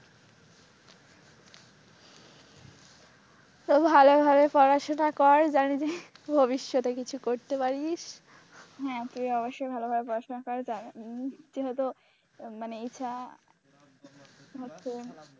তো ভালই ভালই পড়াশোনা কর জানবি যে ভবিষ্যতে কিছু করতে পারিস হ্যাঁ তুই অবশ্যই ভালোভাবে পড়াশোনা কর মানে এইটা হচ্ছে,